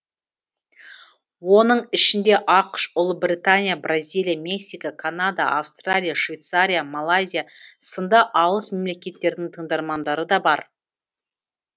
оның ішінде ақш ұлыбритания бразилия мексика канада австралия швейцария малайзия сынды алыс мемлекеттердің тыңдармандары да бар